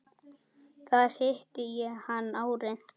Þar hitti ég hann árið